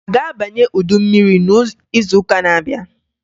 A ga-abanye udu mmiri n'izuụka n'abịa?